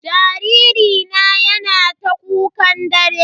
Jariri na yana ta kukan dare.